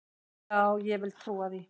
Já, ég vil trúa því.